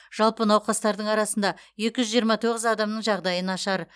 жалпы науқастардың арасында екі жүз жиырма тоғыз адамның жағдайы нашар